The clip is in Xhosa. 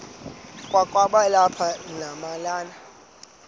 kwakaba lapha nemalana